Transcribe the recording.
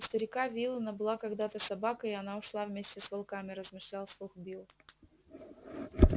у старика виллэна была когда то собака и она ушла вместе с волками размышлял вслух билл